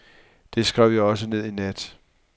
Det skrev jeg også ned i nat.